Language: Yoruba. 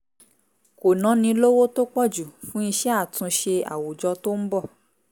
kò náni lówó tó pọ̀ jù fún iṣẹ́ àtúnṣe àwùjọ tó ń bọ̀